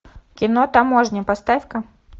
кино таможня поставь ка